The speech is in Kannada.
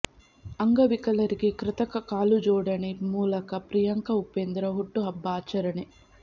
ಅಂಗವಿಕಲರಿಗೆ ಕೃತಕ ಕಾಲು ಜೋಡಣೆ ಮೂಲಕ ಪ್ರಿಯಾಂಕ ಉಪೇಂದ್ರ ಹುಟ್ಟು ಹಬ್ಬ ಆಚರಣೆ